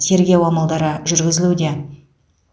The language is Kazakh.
тергеу амалдары жүргізілуде